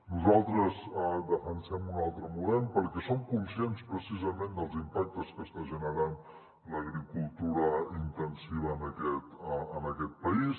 nosaltres defensem un altre model perquè som conscients precisament dels im·pactes que està generant l’agricultura intensiva en aquest país